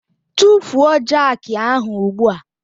Tufuo jakị ahụ ugbu a!